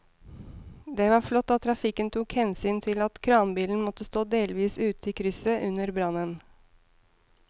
Det var flott at trafikken tok hensyn til at kranbilen måtte stå delvis ute i krysset under brannen.